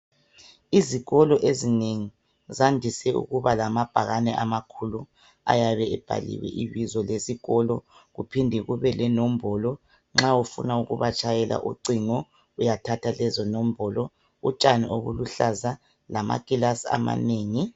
Izikolo ezinengi zandise ukuba lamabhakane amakhulu ayabe ebhaliwe ibizo lesikolo kuphinde kube lenombolo nxa ufuna ukuba tshayela ucingo uyathatha lezo nombolo .Utshani obuluhlaza lamakilasi amanengi .